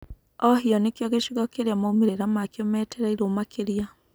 Ohio nĩkio gĩcigo kĩrĩa maumĩra makio metereirũo makĩria.